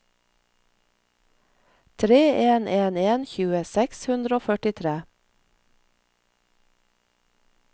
tre en en en tjue seks hundre og førtitre